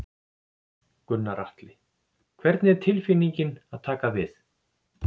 Gunnar Atli: Hvernig er tilfinningin að taka við?